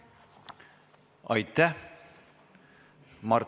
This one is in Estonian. Aitäh!